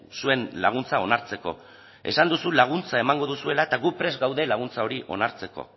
zuen laguntza onartzeko esan duzu laguntza emango duzuela eta gu prest gaude laguntza hori onartzeko